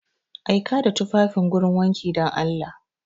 Aika da tufafin gurin wanki dan Allah!